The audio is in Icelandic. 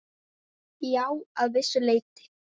Já, að vissu leyti.